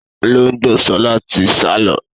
Olóngbó sọlá tí sálọ